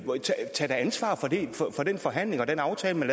ansvar for den forhandling og den aftale man